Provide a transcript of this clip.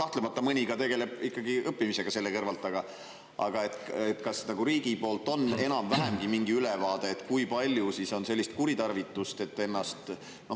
Kahtlemata mõni tegeleb ikkagi õppimisega ka selle kõrvalt, aga kas riigil on enam-vähemgi mingi ülevaade, kui palju on sellist kuritarvitust?